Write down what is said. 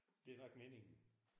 Det nok meningen